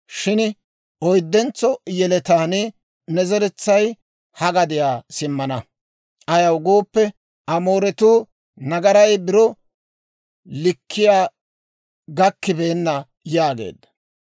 Shin oyddentso yeletaan ne zeretsay ha gadiyaa simmana; ayaw gooppe, Amooretuu nagaray biro likkiyaa gakkibeenna» yaageedda.